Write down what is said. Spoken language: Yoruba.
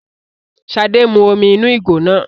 ṣade mú omí inú ìgò náà